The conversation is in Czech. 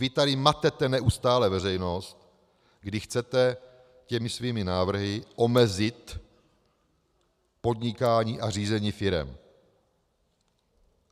Vy tady matete neustále veřejnost, když chcete těmi svými návrhy omezit podnikání a řízení firem.